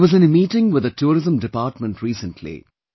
I was in a meeting with the Tourism Department recently